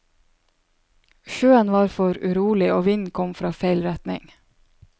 Sjøen var for urolig og vinden kom fra feil retning.